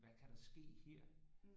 Hvad kan der ske her